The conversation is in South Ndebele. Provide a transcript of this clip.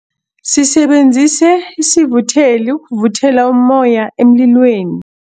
Sisebenzise isivutheli ukuvuthela ummoya emlilweni.